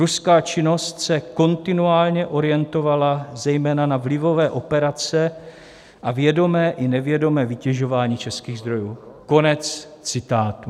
Ruská činnost se kontinuálně orientovala zejména na vlivové operace a vědomé i nevědomé vytěžování českých zdrojů." Konec citátu.